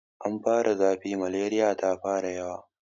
Ana fara zafi, maleriya ta fara yawa.